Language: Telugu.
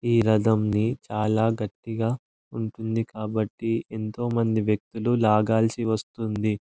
ఈ రధం ది చాల గట్టిగా ఉంటుంది కాబట్టి ఎంతో మంది వ్యక్తులు లాగాల్సి వస్తుంది.